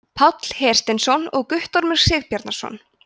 páll hersteinsson og guttormur sigbjarnarson